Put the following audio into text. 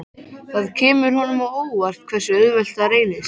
Það kemur honum á óvart hversu auðvelt það reynist.